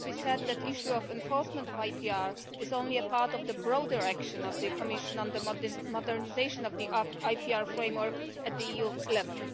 It has to be said that the issue of the enforcement of IPR is only a part of the broader action of the Commission on the modernisation of the IPR framework at EU level.